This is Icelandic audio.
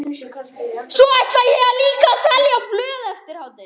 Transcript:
Svo ætla ég líka að selja blöð eftir hádegi.